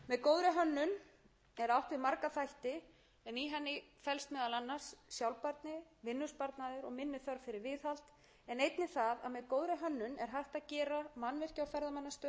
og líka með góðri hönnun er átt við marga þætti en í henni felst meðal annars sjálfbærni vinnusparnaður og minni þörf fyrir viðhald en einnig það